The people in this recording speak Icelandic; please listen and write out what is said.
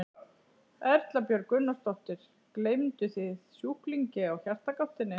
Erla Björg Gunnarsdóttir: Gleymduð þið sjúklingi á Hjartagáttinni?